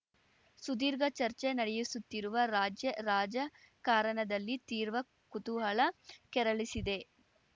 ಸುದೀರ್ಘ ಚರ್ಚೆ ನಡೆಯಿಸಿತ್ತಿರುವ ರಾಜ್ಯ ರಾಜಕಾರಣದಲ್ಲಿ ತೀರ್ವ ಕುತೂಹಲ ಕೆರಳಿಸಿದೆ